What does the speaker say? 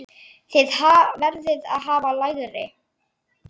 Þið verðið að hafa lægra.